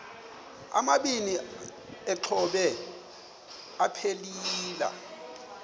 amabini exhobe aphelela